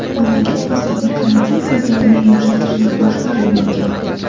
Mamlakat hozirda karantin qoidalarini yumshatishni boshlab yuborgan.